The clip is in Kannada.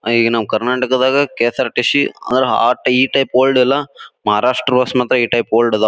ಆ ಈಗ ನಮ್ಮ್ ಕರ್ನಾಟಕದಾಗ ಕೆಎಸ್ಆರ್ಟಿ_ಸಿ ಅಂದ್ರ ಆ ಈ ಟೈಪ್ ಓಲ್ಡ್ ಅಲ್ಲ ಮಹಾರಾಷ್ಟ್ರ ಈ ಟೈಪ್ ಓಲ್ಡ್ ಅದಾವ್.